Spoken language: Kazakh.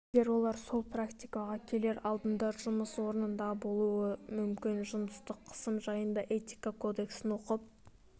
егер олар сол практикаға келер алдында жұмыс орнында болуы мүмкін жыныстық қысым жайында этика кодексін оқып